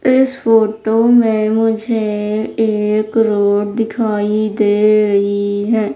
इस फोटो में मुझे एक रोड दिखाई दे रही है।